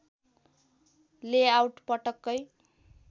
layout पटक्कै